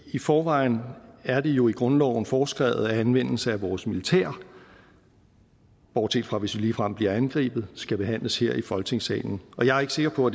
i forvejen er det jo i grundloven foreskrevet at anvendelsen af vores militær bortset fra hvis vi ligefrem bliver angrebet skal behandles her i folketingssalen jeg er ikke sikker på